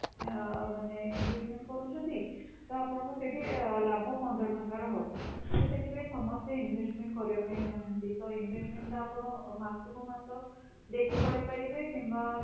ଆଁ ମାନେ investment କରୁଛନ୍ତି ତ ଆପଣାକୁ ସେଇଠି ଲାଭ ପନ୍ଦର ଟଙ୍କାର ହବ, ତ ସେଠି ପାଇଁ ସମସ୍ତେ investment କରିବା ପାଇଁ ଚାହାଁନ୍ତି, ତ investment ଟା ଆପଣ ମାସକୁ ମାସ ଦେଇକି କରିପାରିବେ କିମ୍ବା